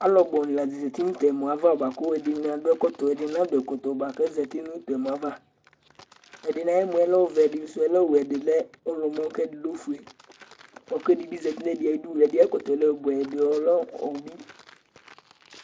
alu bu ni la zati nu tu ɛmɔ yɛ ava bʋa ku ɛdini adu ɛkɔtɔ, ɛdini na du ɛkɔtɔ bʋa ku azati nu tu ɛmɔ yɛ ava, ɛdini ayu ɛmɔ yɛ ɔvɛ, ɛdini sʋɛ lɛ owɛ, ɛdi lɛ ɔwlɔmɔ, ku ɛdi lɛ ofue, bʋa ku ɛdi bi zati nu ɛdi ayi du, ɛdi ayi ɛkɔtɔ yɛ lɛ ɔbʋɛ, ɛdi lɛ obi